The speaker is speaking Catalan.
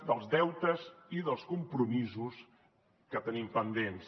dels deutes i dels compromisos que tenim pendents